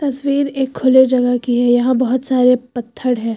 तस्वीर एक खुले जगह की है यहां बहुत सारे पत्थड़ है।